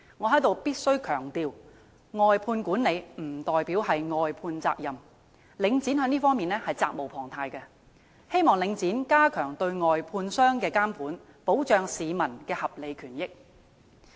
我在此必須強調，"外判管理"不代表"外判責任"，領展在這方面責無旁貸，希望領展加強對外判商的監管，保障市民的合理權益。